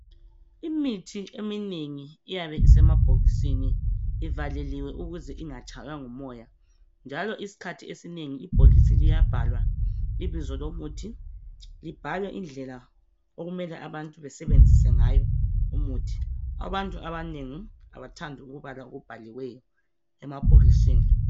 Imithi eminengi iyabe isemabhokisini ivaleliwe ukuze ingatshaywa ngumoya njalo isikhathi esinengi ibhokisi liyabhalwa ibizo lomuthi libhalwe indlela okumele abantu basebenzise ngayo umuthi. Abantu abanengi abathandi ukubala okubhaliweyo emabhokisini.